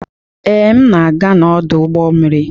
Ee, m na-aga n'ọdụ ụgbọ mmiri.